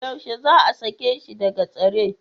Yaushe za a sake shi daga tsare?